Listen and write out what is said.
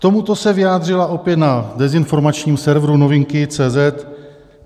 K tomuto se vyjádřila opět na dezinformačním serveru Novinky.cz